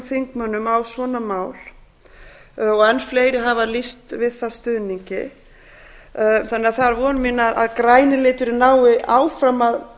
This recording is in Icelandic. þingmönnum á svona mál enn fleiri hafa lýst við það stuðningi von mín er að græni liturinn nái áfram að